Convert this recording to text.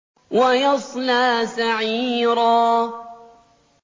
وَيَصْلَىٰ سَعِيرًا